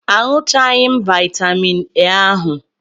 Aṅụchaghị m vaitamin A ahu.